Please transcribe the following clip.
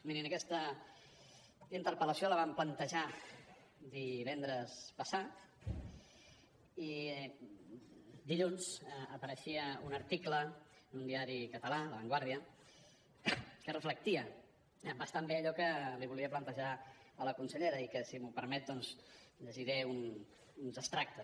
miri aquesta interpel·lació la vam plantejar divendres passat i dilluns apareixia un article en un diari català la vanguardia que reflectia bastant bé allò que li volia plantejar a la consellera i que si m’ho permet doncs en llegiré uns abstractes